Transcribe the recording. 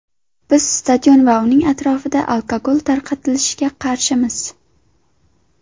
Biz stadionlar va uning atrofida alkogol tarqatilishiga qarshimiz.